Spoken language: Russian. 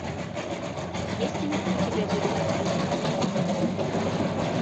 есть ли у тебя бирюк